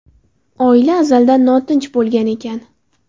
Oila azaldan notinch bo‘lgan ekan.